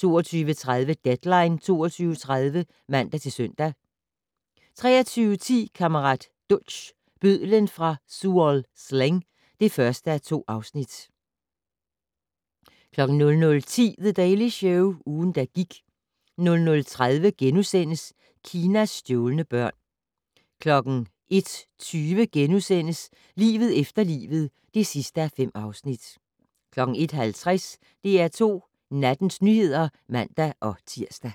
22:30: Deadline 22.30 (man-søn) 23:10: Kammerat Duch - bødlen fra Tuol Sleng (1:2) 00:10: The Daily Show - ugen, der gik 00:30: Kinas stjålne børn * 01:20: Livet efter livet (5:5)* 01:50: DR2 Nattens nyheder (man-tir)